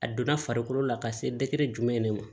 A donna farikolo la ka se jumɛn de ma